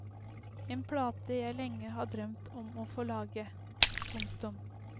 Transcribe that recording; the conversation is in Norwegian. En plate jeg lenge har drømt om å få lage. punktum